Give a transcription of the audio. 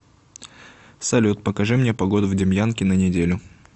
салют покажи мне погоду в демьянке на неделю